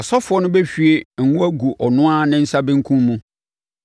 Ɔsɔfoɔ no bɛhwie ngo agu ɔno ara ne nsa benkum mu